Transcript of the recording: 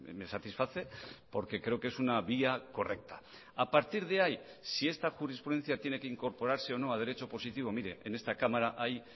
me satisface porque creo que es una vía correcta a partir de ahí si esta jurisprudencia tiene que incorporarse o no a derecho positivo mire en esta cámara hay